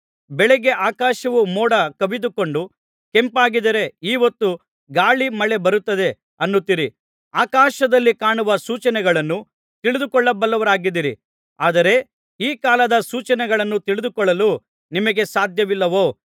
ಬೆಳಗ್ಗೆ ಆಕಾಶವು ಮೋಡ ಕವಿದುಕೊಂಡು ಕೆಂಪಾಗಿದ್ದರೆ ಈಹೊತ್ತು ಗಾಳಿ ಮಳೆ ಬರುತ್ತದೆ ಅನ್ನುತ್ತೀರಿ ಆಕಾಶದಲ್ಲಿ ಕಾಣುವ ಸೂಚನೆಗಳನ್ನು ತಿಳಿದುಕೊಳ್ಳಬಲ್ಲವರಾಗಿದ್ದೀರಿ ಆದರೆ ಈ ಕಾಲದ ಸೂಚನೆಗಳನ್ನು ತಿಳಿದುಕೊಳ್ಳಲು ನಿಮಗೆ ಸಾಧ್ಯವಿಲ್ಲವೋ